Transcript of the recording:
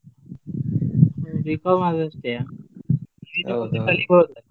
B.Com ಆದದ್ದು ಅಷ್ಟೇಯಾ ?